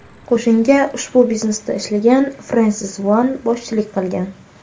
Qo‘shinga ushbu biznesda ishlagan Frensis One boshchilik qilgan.